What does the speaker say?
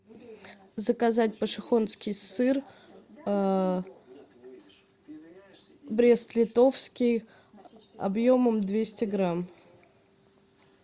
заказать пошехонский сыр брест литовский объемом двести грамм